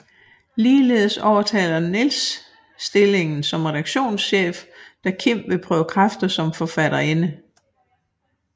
Ligeledes overtager Niels stillingen som redaktionschef da Kim vil prøve kræfter som forfatterinde